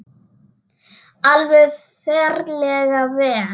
Alveg ferlega vel.